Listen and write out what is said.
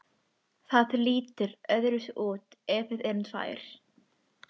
Það lítur öðruvísi út ef við erum tvær.